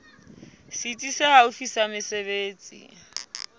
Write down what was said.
setsi se haufi sa mesebetsi